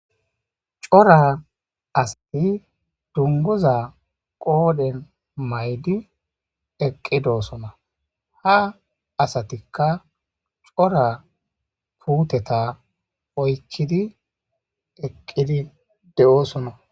C'ora asati dunguza qodhen maydi eqidosona ha asatika c'ora puteta oykidi eqidi de'osona.